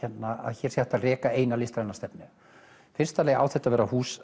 hér sé hægt að reka eina listræna stefnu í fyrsta lagi á þetta að vera hús